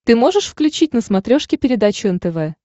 ты можешь включить на смотрешке передачу нтв